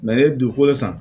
ne ye dugukolo san